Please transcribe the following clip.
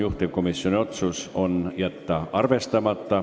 Juhtivkomisjoni otsus on jätta see arvestamata.